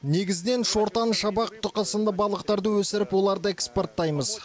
негізінен шортан шабақ тұқы сынды балықтарды өсіріп оларды экспорттаймыз